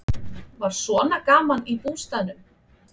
Var svona gaman í bústaðnum?